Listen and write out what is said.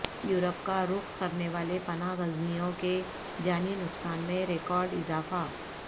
Europe کا رخ کرنے والے پناہ گزینوں کے جانی نقصان میں ریکارڈ اضافہ